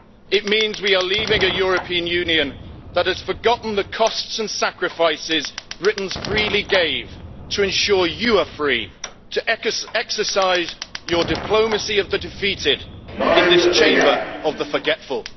It means we are leaving the European Union that has forgotten the costs and sacrifices Britons freely gave to ensure you are free to exercise your diplomacy of the defeated in this Chamber of the forgetful.